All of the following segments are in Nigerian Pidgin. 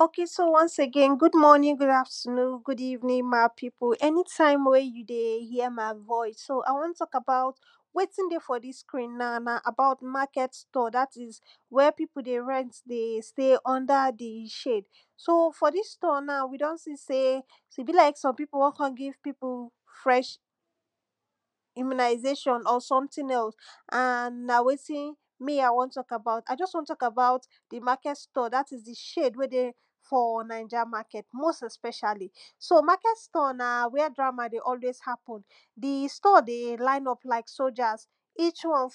ok so ones agein good morning, good afternoon good evening ma people anytime we you de hear my voice de hear my voice so i won talk about wetin dey for dis screen now na about market store dat is, where pipu dey rent de stay under di shade. so or dis store na, we don see sey bi like some pipu won kon give pipu fresh immunasation or sometin else and na wetin me a won talk about. a just won talk about di market store dat is di shade we dey for niger market. most especially. so market store na whre drama dey always happen, di store dey line up like soldiers each one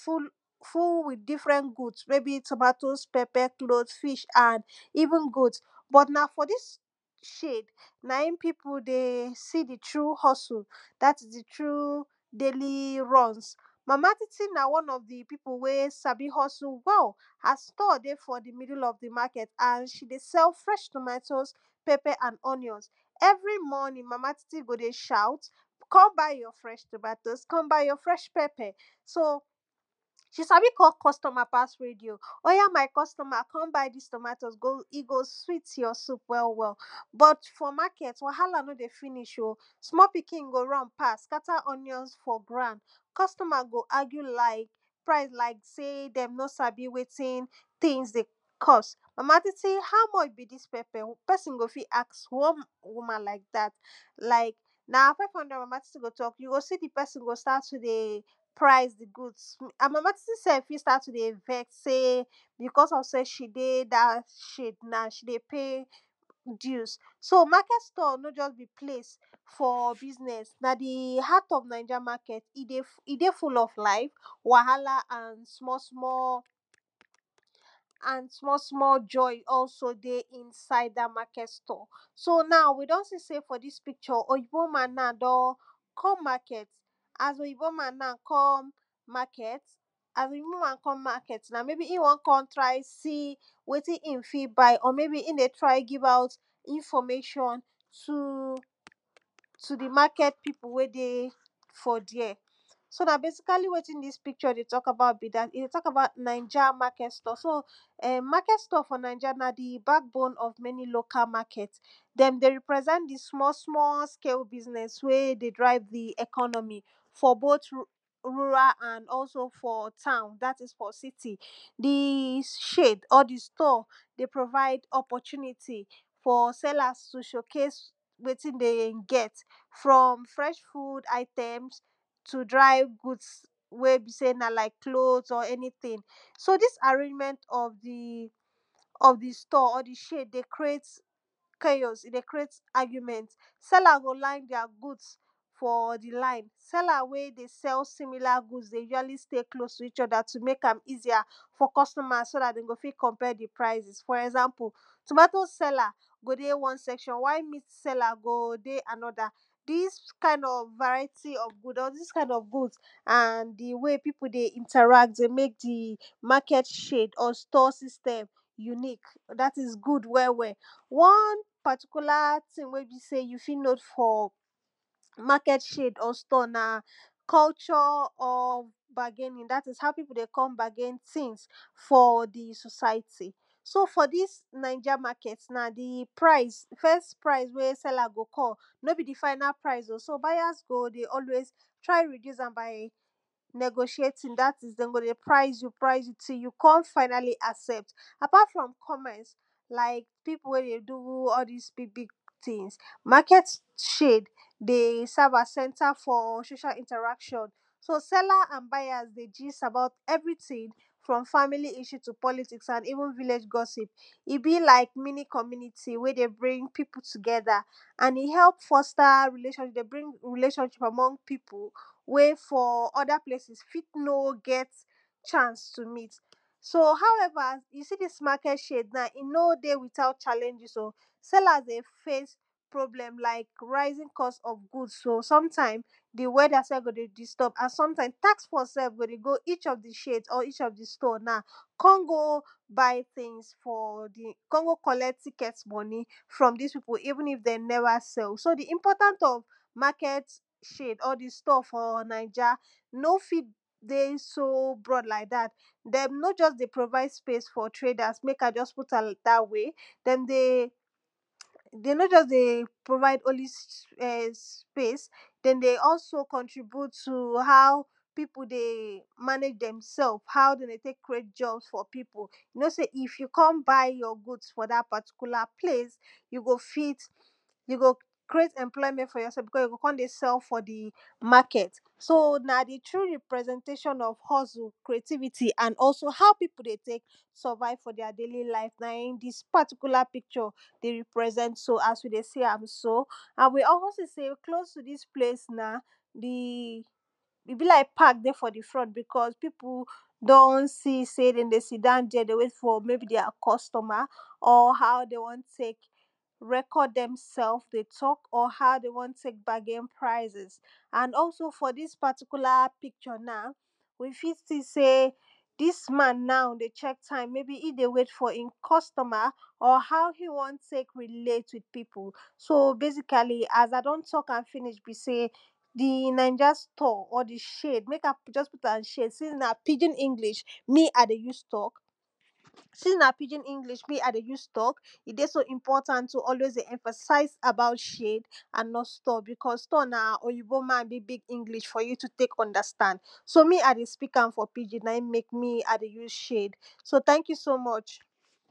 full with different goods meybi tomatoes, pepper, cloth, fish and even goat. but na for dis shade na im pipu dey see di true hustle dat is di true daily runs but ma titi na won of di pipu wey sabi hustle well her store dey for di middle of di market and she dey sell fresh tomotoes, pepper and onions. every morning, mama tit go dey shout kon buy your fresh tomatoe, kon buy you fresh pepper so she sabi call customer pass radio. oya my customer kon buy dis tomatoe go e go sweet your soup well well. but for market, wahala no dey finish o small pikin go run pass scatter onions for ground, customers go argue like price like sey dem no sabi wetin tins dey cost. mama titi how much is dis peper? pesin go fi ask one woman like dat na five hundred mama titi talk you go see di pesin go start to dey price goods and mama titi self fi start to dey vex because of sey she dey da shade na she dey pay dues. so market store no just be place for business, na di heart of of niger market. e dey full of life, wahala and small small and small small joy also dey inside da markt store. so now we don see sey for dis picture oyinbo man na don comemarket, as oyinbo man na come market, maybe e won kon try see wetin in fi buy or maybe in dey try give out information to to dimarket pipu we dey for there so na basically wetin dis picture dey talk about be dat. e dey talk about ninja market store. so ehm market store for ninja na di backbone of many local market. dem, dem dey represent di small small scale business wey dey drive di economy. for both rural and also for town dat is for city. di shade or di store, dey provide opportunity for sellers to showcase wetin dem get from fresh food items, to dry goodss we be sey na like cloth everytin. so dis arrangment of di of di store or di shade dey creat chaos e dey creat argument, sellers go line there goods, for di line seller we dey sell similar good dey usually stay close to eachother to mek am easier for customers so dat de go fi compare di prices for example tomatoe seller go dey one section while meat seller go dey anoda dis kind of variety of good or dis kind of and di way pipu dey ineract dey mek di market shade or store system unique dat is good well well. one particular tin we be sey you fit know for market shade or store na culture or bargaining dat is how pipu de kon bargai tins for di society so for dis ninja market di price di first price wey seller go call no be di final price o so buyers go dey always try reduce am buy negociating dat is den go dey price you price you till you kon finally accept. apart from commence like pipu wey dey do all dis big big tins, market shade dey serve as center for social interaction so seller and buyers dey gist about everytin from family issue to politics and even village gossip. e be lik mini community wey dey bring piu together. and e help foster relationship dey bring relationship for more pipu we for other places fit no get chance to meet. so however you see dis market shade now, e no dey without challanges o sellers dey face problem like rising cost of goods oh sometime, di weather self go dey disturb and sometimes takforce self go dey go each of di shade or each of di store na kon go buy tins for di kon go collect ticket moni from dis pipu even if dem neva sell so di important of market shade or di store for ninja no fit dey so broad like dat. dem no just dey provide space for traders mek i just put am dat way, dem dey de no just dey provide only space, den dey also dy contribute to how pipu dey manage dem self how de dey tek ccreat jobs for pipu. you no sey if you kon buy your good for dat particular plce, you go fit you go creat employment for yourself you no sey you go kon dey sell for di market. so na di true representation of hustle creativity, and also how pipu dey tek surive for their daily live na in be dis particular poicture. de represent so as we dey see am so and we also see sey close to dis place na, di e be like pack dey for di front, bicos pipu don see sey de de sit down there de wait for maybe their customer and how de won tek record demself dey talk and how de won tek bargaini prices and also for dis particular picture now, you fit see sey dis man now dey check time maybe in dey wait for in customer, or how e won tek relate with pipu. so basically as i don talk am finish be sey di inja store or di shade mek i just put am shade since na pidgin me i dey use tok, since na pidgin me i dey us tok, e dey so important to emphasize about shade and not stor because store na oyibo man big big english for you to tek understand. so me i dey speak am for pidgin na in mek me i dey use shade, so thank you so much.